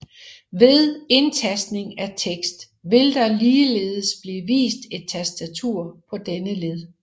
Ved indtastning af tekst vil der ligeledes blive vist et tastatur på denne led